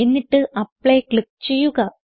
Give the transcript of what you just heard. എന്നിട്ട് apply click ചെയ്യുക